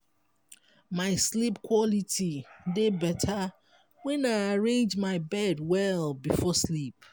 my sleep quality dey better when i arrange my bed well before sleep.